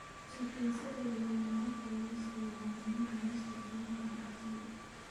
Chicken satay leh maraqa lawska waa cunno-cunista caanka ah ee Thai.